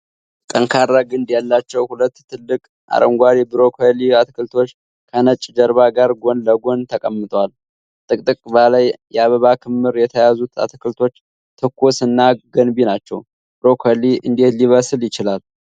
ጠንካራ ግንድ ያላቸው ሁለት ትልቅ አረንጓዴ ብሮኮሊ አትክልቶች ከነጭ ጀርባ ጋር ጎን ለጎን ተቀምጠዋል። ጥቅጥቅ ባለ የአበባ ክምር የያዙት አትክልቶች ትኩስ እና ገንቢ ናቸው። ብሮኮሊ እንዴት ሊበስል ይችላል?